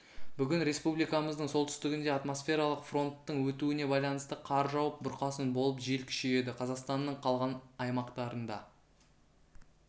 бүгін республикамыздың солтүстігінде атмосфералық фронттың өтуіне байланысты қар жауып бұрқасын болып жел күшейеді қазақстанның қалған аймақтарында